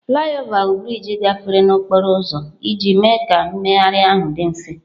Flyover bụ brịjị gafere n'okporo ụzọ ọzọ iji mee ka mmegharị ahụ dị mfe.